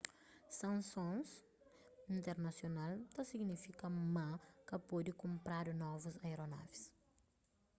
sansons internasional ta signifika ma ka pode kunpradu novus aeronavis